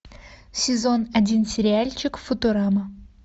сезон один сериальчик футурама